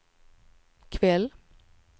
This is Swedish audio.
kväll